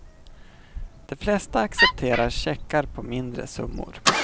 De flesta accepterar checkar på mindre summor.